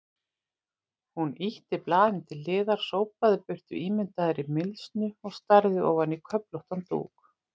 Hún ýtti blaðinu til hliðar, sópaði burt ímyndaðri mylsnu og starði ofan í köflóttan dúk.